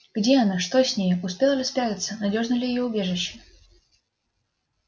где она что с нею успела ли спрятаться надёжно ли её убежище